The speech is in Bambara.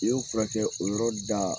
I ye o furakɛ o yɔrɔ da